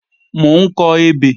Mò ń kọ ebè